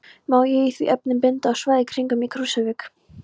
Má í því efni benda á svæðin kringum Krýsuvík